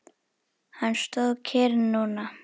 Hann stóð kyrr núna.